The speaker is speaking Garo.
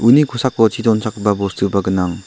uni kosako chi donchakgipa bostuba gnang.